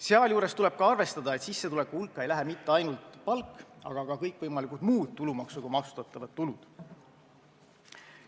Sealjuures tuleb arvestada, et sissetuleku hulka ei lähe mitte ainult palk, vaid ka kõikvõimalikud muud tulumaksuga maksustatavad tulud.